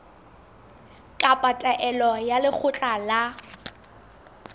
kapa taelo ya lekgotla la